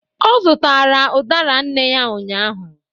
ọ zụtara udara nne ya ụnyahụ